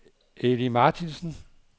Eli Martinsen